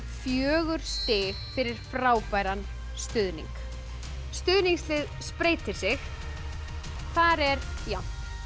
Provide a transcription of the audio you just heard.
fjögur stig fyrir frábæran stuðning stuðningslið spreytir sig þar er jafnt